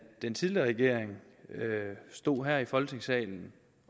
den tidligere regering stod her i folketingssalen